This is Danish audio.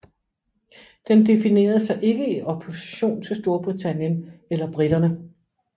Den definerede sig ikke i opposition til Storbritannien eller briterne